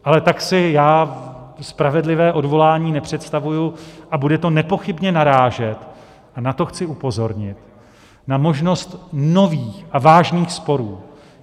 Ale tak si já spravedlivé odvolání nepředstavuji a bude to nepochybně narážet - a na to chci upozornit - na možnost nových a vážných sporů.